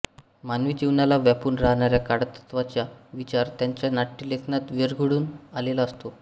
मानवी जीवनाला व्यापून राहणाऱ्या काळतत्त्वाचा विचार त्यांच्या नाट्यलेखनात विरघळून आलेला असतो